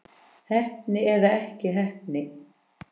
Heppni eða ekki heppni?